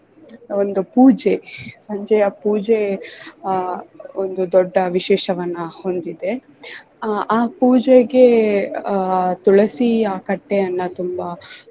ಒಂದು ಪೂಜೆ ಸಂಜೆಯ ಪೂಜೆ ಆಹ್ ಒಂದು ದೊಡ್ಡ ವಿಶೇಷವನ್ನ ಹೊಂದಿದೆ ಆಹ್ ಆ ಪೂಜೆಗೆ ಆಹ್ ತುಳಸಿಯ ಕಟ್ಟೆಯನ್ನ ತುಂಬಾ